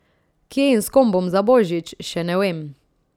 Kje in s kom bom za Božič, še ne vem.